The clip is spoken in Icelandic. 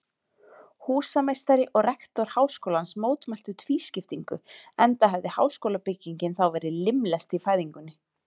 Húsameistari og rektor háskólans mótmæltu tvískiptingu, enda hefði háskólabyggingin þá verið limlest í fæðingunni.